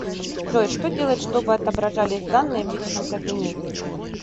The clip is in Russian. джой что делать чтобы отображались данные в личном кабинете